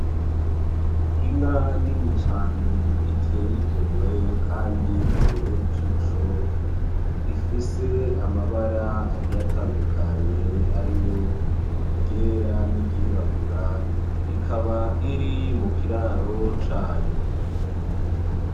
Inka nini cane iteye igomwe kandi ibereye ijisho, ifise amabara agiye atandukanye ariyo iryera niry'irabura, ikaba iri mu kiraro cayo.